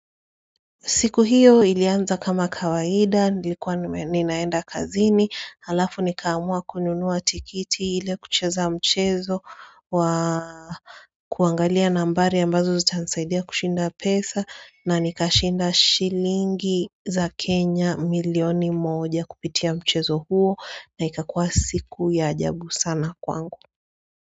Siku hiyo ilianza kama kawaida, nilikuwa ninaenda kazini, halafu nikaamua kununuwa tikiti hile kucheza mchezo wa kuangalia nambari ambazo zutanisaidia kushinda pesa na nikashinda shilingi za Kenya milioni moja kupitia mchezo huo na ikakuwa siku ya ajabu sana kwangu.